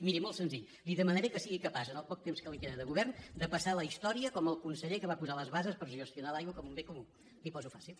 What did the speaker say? miri molt senzill li demanaré que sigui capaç en el poc temps que li queda de govern de passar a la història com el conseller que va posar les bases per gestionar l’aigua com un bé comú li ho poso fàcil